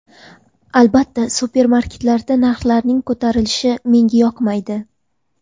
Albatta supermarketlarda narxlarning ko‘tarilishi menga yoqmaydi.